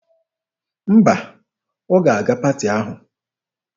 Mba, ọ ga-aga paati ahụ.